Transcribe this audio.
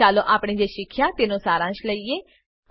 ચાલો આપણે જે શીખ્યા તેનો સારાંશ લઈએ